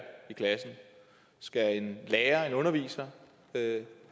i klassen skal en lærer en underviser have